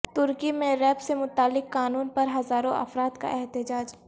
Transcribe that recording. ترکی میں ریپ سے متعلق قانون پر ہزاروں افراد کا احتجاج